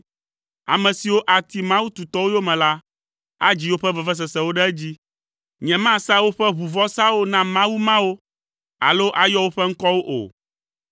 Ame siwo ati mawu tutɔwo yome la, adzi woƒe vevesesewo ɖe edzi. Nyemasa woƒe ʋuvɔsawo na mawu mawo, alo ayɔ woƒe ŋkɔwo o.